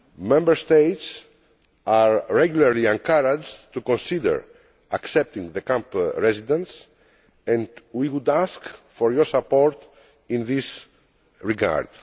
Member States are regularly encouraged to consider accepting camp residents and we would ask for your support in this regard.